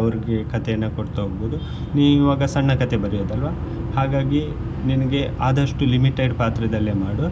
ಅವ್ರರಿಗೆ ಕಥೆಯನ್ನು ಕೊಡ್ತಾ ಹೋಗ್ಬಹುದು ನೀವ್ ಈಗ ಸಣ್ಣ ಕಥೆ ಬರೆಯುದಲ್ವಾ ಹಾಗಾಗಿ ನಿನ್ಗೆ ಆದಷ್ಟು limited ಪಾತ್ರದಲ್ಲೆ ಮಾಡು